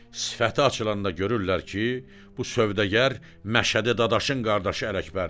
Sifəti açılanda görürlər ki, bu sövdəgər Məşədi Dadaşın qardaşı Ələkbərdir.